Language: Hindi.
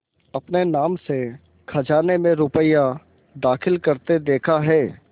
अपने नाम से खजाने में रुपया दाखिल करते देखा है